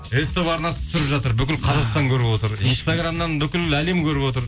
ств арнасы түсіріп жатыр бүкіл қазақстан көріп отыр инстаграмнан бүкіл әлем көріп отыр